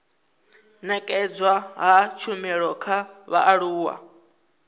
nekedzwa ha tshumelo kha vhaaluwa